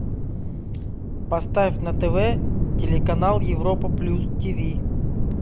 поставь на тв телеканал европа плюс тв